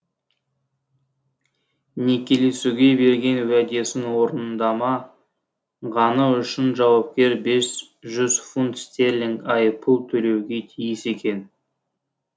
некелесуге берген уәдесін орындамағаны үшін жауапкер бес жүз фунт стерлинг айыппұл төлеуге тиіс екен